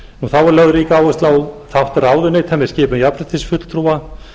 þá er lögð rík áhersla á þátt ráðuneyta með skipun jafnréttisfulltrúa